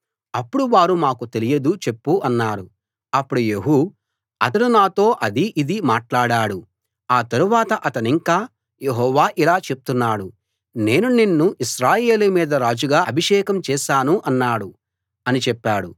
అప్పుడు వారు మాకు తెలియదు చెప్పు అన్నారు అప్పుడు యెహూ అతడు నాతో అదీ ఇదీ మాట్లాడాడు ఆ తరువాత అతనింకా యెహోవా ఇలా చెప్తున్నాడు నేను నిన్ను ఇశ్రాయేలు మీద రాజుగా అభిషేకం చేశాను అన్నాడు అని చెప్పాడు